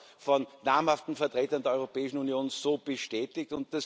das wird auch von namhaften Vertretern der Europäischen Union so bestätigt.